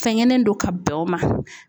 Fɛnkɛnen don ka bɛn o ma.